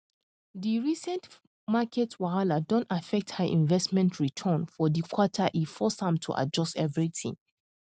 di recent market wahala don affect her investment return for di quarter e force am to adjust everything